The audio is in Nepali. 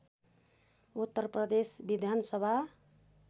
उत्तरप्रदेश विधानसभा